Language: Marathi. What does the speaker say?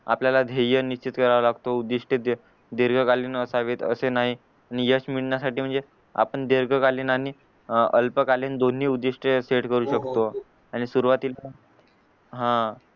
आपल्याला ध्येय निश्चित करावा लागतो आणि यश मिळण्या साठी म्हणजे आपण दीर्घकालीन आणि अं अल्पकालीन दोन्ही उधिष्ठ सेट करू शकतो आणि सुरवातीला हां